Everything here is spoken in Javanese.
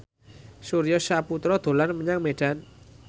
Surya Saputra dolan menyang Medan